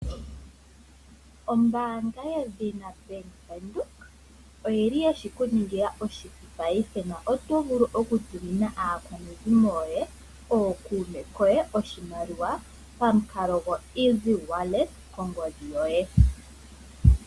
Ombaanga yedhina Bank Windhoek oyili yeshikuningila oshipu paife na otovulu oku tumina aakwanezimo yoye nenge ookume koye oshimaliwa pamukalo go Easy wallet kongodhi yoye.